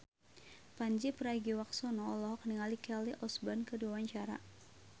Pandji Pragiwaksono olohok ningali Kelly Osbourne keur diwawancara